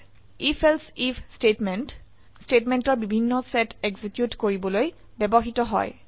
IfElse IF statement স্টেটমেন্টৰ বিভিন্ন set execute কৰিবলৈ ব্যবহৃত হয়